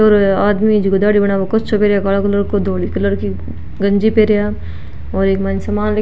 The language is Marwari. एक आदमी जो दाढ़ी बनावे कच्छो पेहेरिया काला कलर को धोली कलर की गंजी पेरिया और एक मायने सामान --